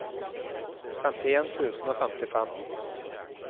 femtien tusen og femtifem